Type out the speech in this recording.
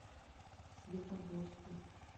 светогорску